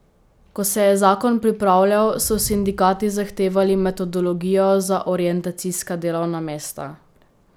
Ko se je zakon pripravljal, so sindikati zahtevali metodologijo za orientacijska delovna mesta.